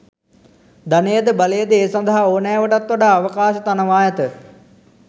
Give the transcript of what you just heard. ධනයද බලයද ඒ සඳහා ඕනෑවටත් වඩා අවකාශ තනවා ඇත.